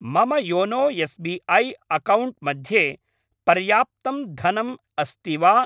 मम YONO SBI. Account मध्ये पर्याप्तं धनम् अस्ति वा?